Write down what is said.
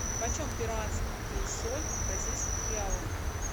почем перуанский соль в бразильских реалах